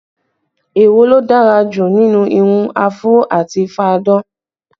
Èwo ló dára jù nínú irun áfúró àti fá-a-dán?